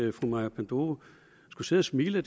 at fru maja panduro skulle sidde og smile